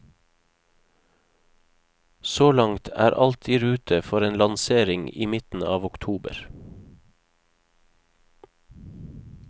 Så langt er alt i rute for en lansering i midten av oktober.